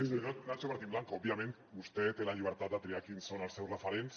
senyor nacho martín blanco òbviament vostè té la llibertat de triar quins són els seus referents